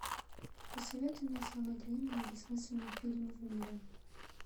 посоветуй мне самый длинный и бессмысленный фильм в мире